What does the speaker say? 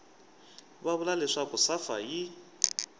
va vula leswaku safa yi